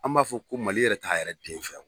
An m'a fɔ ko Mali yɛrɛ t'a yɛrɛ den fɛ.